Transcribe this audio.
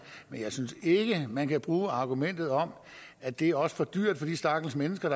men jeg synes ikke man kan bruge argumentet om at det også er for dyrt for de stakkels mennesker